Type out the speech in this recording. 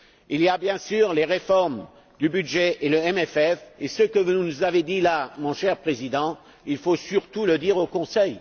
Il y a bien sûr les réformes du budget et le EFP et ce que vous nous avez dit, Monsieur le Président, il faut surtout le dire au Conseil.